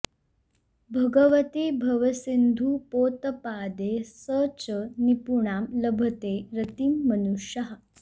भगवति भवसिन्धुपोतपादे स च निपुणां लभते रतिं मनुष्यः